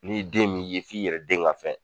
N'i den m'i ye f'i yɛrɛ den ka fɛn